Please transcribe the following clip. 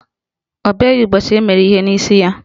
Ọ bịaghị ụbọchị emere ihe n'isi ya